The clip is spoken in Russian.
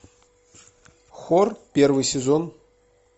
хор первый сезон